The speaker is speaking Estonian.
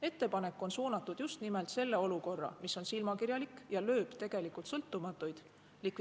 Ettepanek on suunatud just nimelt selle olukorra likvideerimisele, mis on silmakirjalik ja lööb tegelikult sõltumatuid.